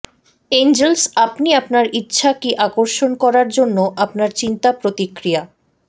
Angeles আপনি আপনার ইচ্ছা কি আকর্ষণ করার জন্য আপনার চিন্তা প্রতিক্রিয়া